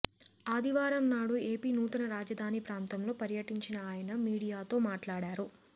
ఆదివారం నాడు ఏపీ నూతన రాజధాని ప్రాంతంలో పర్యటించిన ఆయన మీడియాతో మాట్లాడారు